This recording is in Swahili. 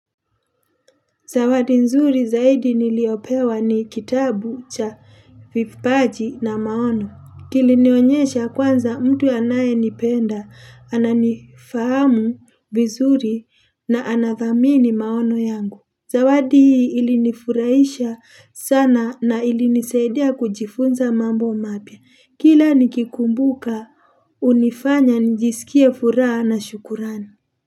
Zawadi nzuri zaidi niliyopewa ni kitabu cha vipaji na maono. Kilinionyesha kwanza mtu anayenipenda, ananifahamu vizuri na anathamini maono yangu. Zawadi ilinifurahisha sana na ilinisaidia kujifunza mambo mapya. Kila nikikumbuka hunifanya njisikie furaha na shukurani.